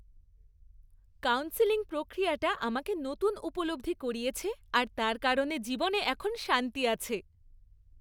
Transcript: Counselling প্রক্রিয়াটা আমাকে নতুন উপলব্ধি করিয়েছে আর তার কারণে জীবনে এখন শান্তি আছে।